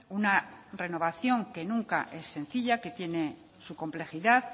una renovación que nunca es sencilla que tiene su complejidad